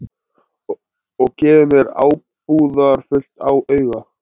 Og gefur mér ábúðarfullt auga.